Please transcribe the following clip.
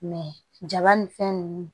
jaba ni fɛn nunnu